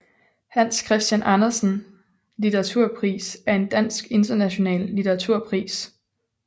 Hans Christian Andersen Litteraturpris er en dansk international litteraturpris